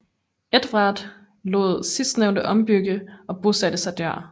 Edvard lod sidstnævnte ombygge og bosatte sig der